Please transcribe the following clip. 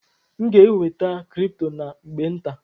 M ga-enweta kripto na mgbe nta.